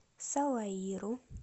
салаиру